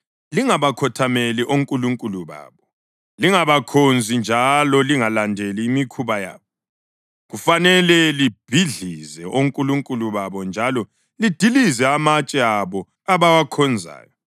Lingabakhothameli onkulunkulu babo, lingabakhonzi njalo lingalandeli imikhuba yabo. Kufanele libhidlize onkulunkulu babo njalo lidilize amatshe abo abawakhonzayo.